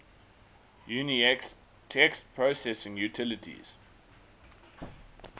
unix text processing utilities